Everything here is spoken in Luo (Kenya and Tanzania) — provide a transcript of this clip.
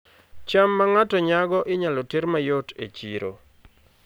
cham ma ng'ato nyago inyalo ter mayot e chiro